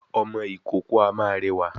Ọmọ ìkókó a máa rẹwà